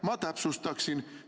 Ma täpsustaksin.